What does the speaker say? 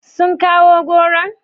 Sun kawo goron?